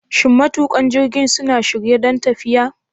Shin matuƙan jirgin suna shirye don tafiya?